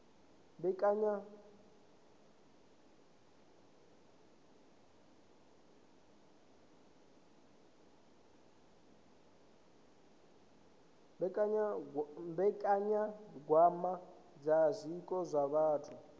mbekanyagwama dza zwiko zwa vhathu